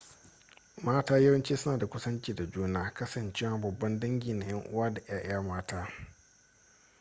mata yawanci suna da kusanci da juna kasancewa babban dangi na yan uwa da 'ya'ya mata